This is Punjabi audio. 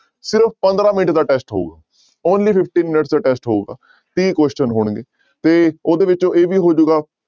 ਸਿਰਫ਼ ਪੰਦਰਾਂ ਮਿੰਟ ਦਾ test ਹੋਊ only fifty minutes ਦਾ test ਹੋਊਗਾ ਤੀਹ question ਹੋਣਗੇ ਤੇ ਉਹਦੇ ਵਿੱਚ ਇਹ ਵੀ ਹੋ ਜਾਏਗਾ